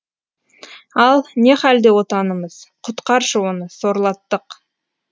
ал не халде отанымыз құтқаршы оны сорлаттық